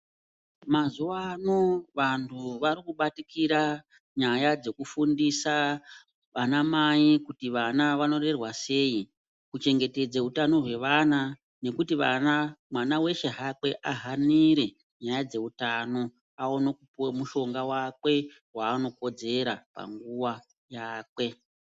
Mazuwa ano vantu vari kubatikira nyaya dzekufundisa anamai kuti vana vanorerwa sei kuchengetedza utano hwevana, nekuti vana, mwana weshe hakwe ahanire nyaya dzeutano aone kupuwa mushonga wakwe waanokodzera panguwa yakwe.